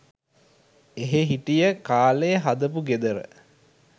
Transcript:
එහේ හිටිය කාලෙ හදපු ගෙදර